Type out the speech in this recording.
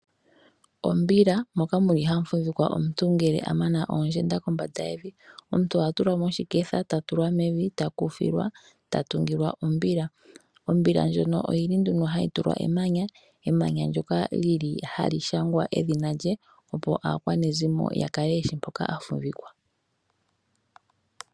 Ombila moka muli hamu fumvikwa omuntu uuna a mana oondjenda kombanda yevi. Omuntu oha tulwa moshiketha e ta tulwa mevi eta ku filwa eta tungilwa ombila ndjoka hayi tulwa emanya ndyoka lili hali shangwa edhina lye opo aakwanezimo ya kale yeshi mpoka omuntu afumvikwa.